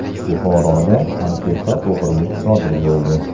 Buxoroda antiqa o‘g‘rilik sodir bo‘ldi.